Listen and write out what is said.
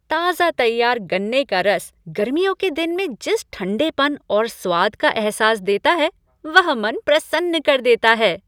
ताजा तैयार गन्ने का रस गर्मियों के दिन में जिस ठंडेपन और स्वाद का अहसास देता है वह मन प्रसन्न कर देता है।